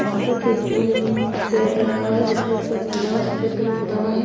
वहां पर तिरुपुर पेड़ लगा हुआ है जिसके ऊपर नीला और सफेद कलर पुता हुआ है।